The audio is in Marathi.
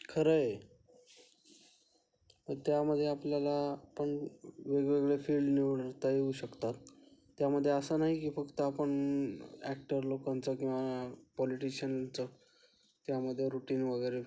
खरंय. त्यामध्ये आपल्याला पण वेगवेगळे फील्ड निवडता येऊ शकतात त्यामध्ये असे नाही की फक्त आपण ॲक्टर लोकांचा किंवा पॉलिटिशियनचं त्यामध्ये रुटीन वगैरे